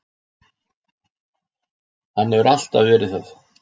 Hann hefur alltaf verið það.